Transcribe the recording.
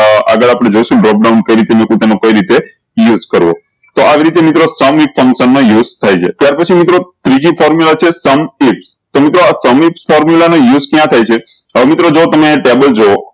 આ આગળ આપળે જોયીશું dropdown કઈ રીતે મેકુ તમે કઈ રીતે use કરો તો આવી રીતે મિત્રો મા use થાય છે ત્યાર પછી મિત્રો ત્રીજી formula છે sum તો મિત્રો આ formula નો use ક્યાં થાય છે હવે મિત્રો જો તમે ટેબલ જો